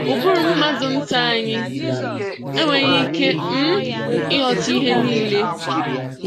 Ụbụrụ mmadụ nta anyị enweghị ike um ịghọta ihe niile.